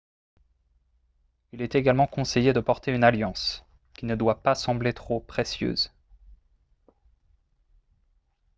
il est également conseillé de porter une alliance qui ne doit pas sembler trop précieuse